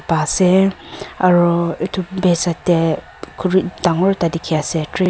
pa ase aro edu biase tae dangor khuri ekta dikhiase tree .